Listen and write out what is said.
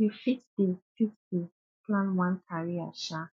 yu fit dey fit dey plan one career um